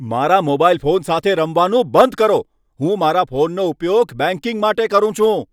મારા mobile phone સાથે રમવાનું બંધ કરો. હું મારા ફોનનો ઉપયોગ બેંકિંગ માટે કરું છું.